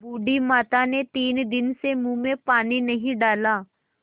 बूढ़ी माता ने तीन दिन से मुँह में पानी नहीं डाला